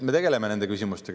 Me tegeleme nende küsimustega.